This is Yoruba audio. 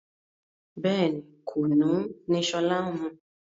Bẹ́ẹ̀ni, Kùnú ni sọlá ń mu